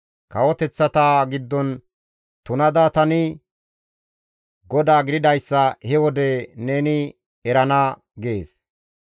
Kawoteththata giddon tunada tani GODAA gididayssa he wode neni erana› » gides.